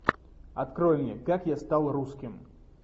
открой мне как я стал русским